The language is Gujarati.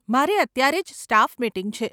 મારે અત્યારે જ સ્ટાફ મીટિંગ છે.